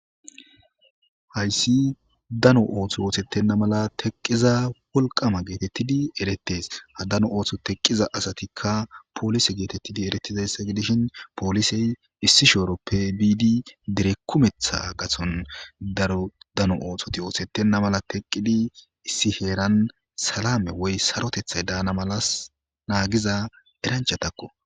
Hayssi dano ooththo oothettenna mala teqqiza wolqama geetettidi eretes ha dano ooththo teqqiza asatikka poolise geetettidi eretizayssa gidishin poolisey issishu eroppe biidi direkkumetha gason darodano oothoti oothettenna mala teqqidi issi heeran salame woy sarotethay daana malas naagiza eranchatakko.